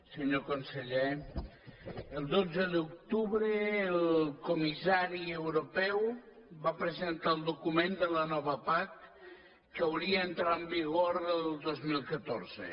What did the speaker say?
senyor conseller el dotze d’octubre el comissari europeu va presentar el document de la nova pac que hauria d’entrar en vigor el dos mil catorze